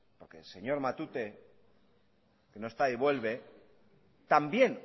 aunque el señor matute que no está y vuelve también